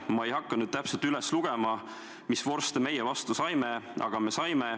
Ma ei hakka nüüd täpselt üles lugema, mis vorste meie vastu saime, aga me saime.